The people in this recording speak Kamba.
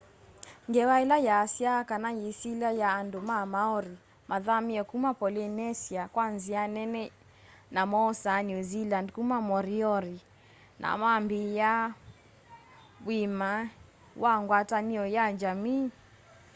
ngewa ila yaasya kana yisilya ya andu ma maori mathamie kuma polynesia kwa nzia nene na moosa new zealand kuma moriori na mambiia uimi wa ngwatanio ya njamii